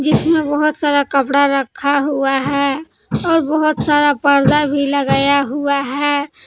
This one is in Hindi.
इसमें बहुत सारा कपड़ा रखा हुआ है और बहुत सारा पर्दा भी लगाया हुआ है।